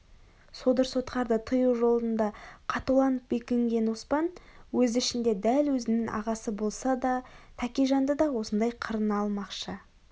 содыр-сотқарды тыю жолында қатуланып бекінген оспан өз ішінде дәл өзінің ағасы болса да тәкежанды да осындай қырына алмақшы